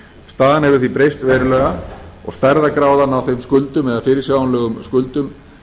staðan hefur því breyst verulega og stærðargráðan á fyrirsjáanlegum skuldum